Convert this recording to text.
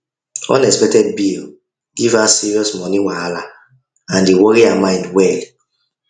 unexpected bill give her serious money wahala and e worry her mind well